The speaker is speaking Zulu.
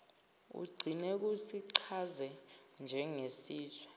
kugcine kusichaze njengesizwe